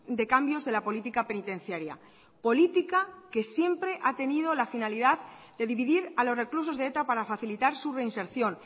de cambios de la política penitenciaria política que siempre ha tenido la finalidad de dividir a los reclusos de eta para facilitar su reinserción